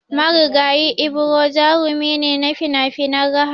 Marigayi Ibro jarumi ne na finafinan raha